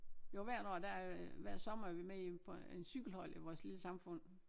Jo hvert år der hver sommer er vi med i på en cykelhold i vores lille samfund